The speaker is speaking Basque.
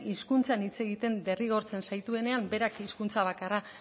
hizkuntzan hitz egiten derrigortzen zaituenean berak hizkuntza bakarra